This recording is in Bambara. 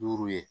Duuru ye